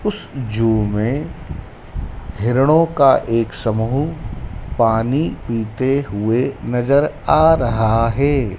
उस जू में हिरणों का एक समूह पानी पीते हुए नजर आ रहा है।